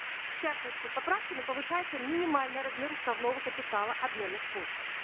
в частности поправками повышается минимальный размер уставного капитала обменных пунктов